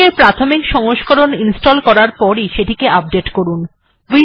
MiKTeX এর প্রাথমিক সংস্করণ ইনস্টল্ করার পরই সেটিকে আপডেট্ করুন